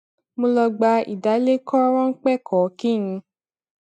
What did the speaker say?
mo lọ gba ìdálékòó ráńpé kan kí n